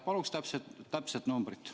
Palun täpset numbrit.